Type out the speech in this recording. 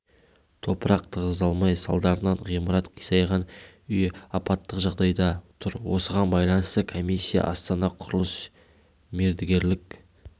топырақ тығыздалмай салдарынан ғимарат қисайған үй апаттық жағдайда тұр осыған байланысты комиссия астана құрылыс мердігерлік